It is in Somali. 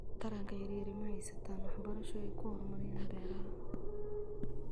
Taranka yaryari ma haystaan ??waxbarasho ay ku horumariyaan beeraha.